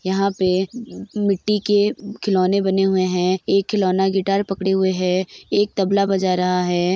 यहाँ पे मिट्टी के खिलौने बने हुए हैं एक खिलौना गिटार पकडे हुए है एक तबला बजा रहा है।